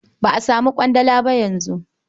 Ba a samun ƙwandala ba yanzu.